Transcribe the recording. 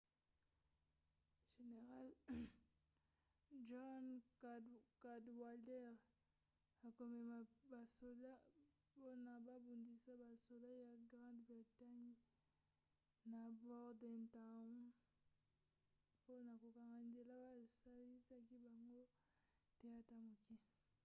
general john cadwalder akomema basoda mpona kobundisa basoda ya grande bretange na bordentown mpona kokanga nzela basalisa bango te ata moke